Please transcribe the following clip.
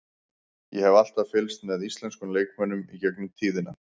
Ég hef alltaf fylgst með íslenskum leikmönnum í gegnum tíðina.